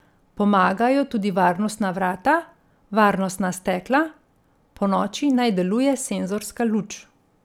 Pomagajo tudi varnostna vrata, varnostna stekla, ponoči naj deluje senzorska luč.